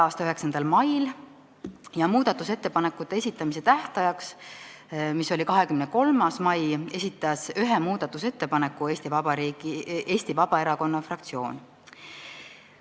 a 9. mail ja muudatusettepanekute esitamise tähtajaks, mis oli 23. mail, esitas ühe muudatusettepaneku Eesti Vabaerakonna fraktsioon.